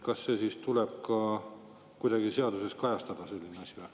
Kas selline asi tuleb ka kuidagi seaduses kajastada?